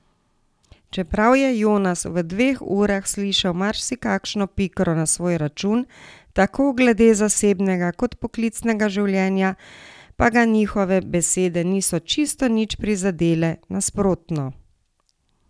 Čeprav je Jonas v dveh urah slišal marsikakšno pikro na svoj račun, tako glede zasebnega kot poklicnega življenja, pa ga njihove besede niso čisto nič prizadele, nasprotno.